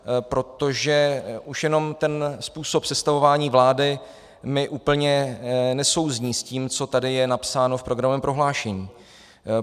Protože už jenom ten způsob sestavování vlády mi úplně nesouzní s tím, co tady je napsáno v programovém prohlášení.